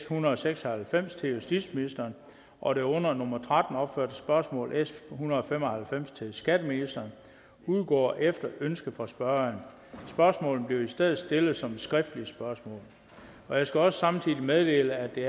hundrede og seks og halvfems til justitsministeren og det under nummer tretten opførte spørgsmål s en hundrede og fem og halvfems til skatteministeren udgår efter ønske fra spørgeren spørgsmålene bliver i stedet stillet som skriftlige spørgsmål jeg skal også samtidig meddele at det